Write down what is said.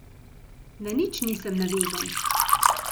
Na nič nisem navezan.